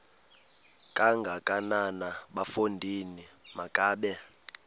kangakanana bafondini makabe